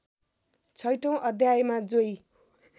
छैठौँ अध्यायमा जोई